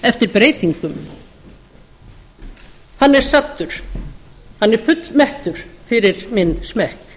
eftir breytingunum hann er saddur hann er fullmettur fyrir minn smekk